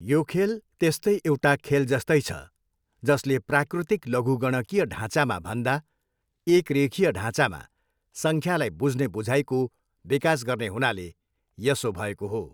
यो खेल त्यस्तै एउटा खेलजस्तै छ, जसले प्राकृतिक लघुगणकीय ढाँचामा भन्दा एक रेखीय ढाँचामा सङ्ख्यालाई बुझ्ने बुझाइको बिकास गर्ने हुनाले यसो भएको हो।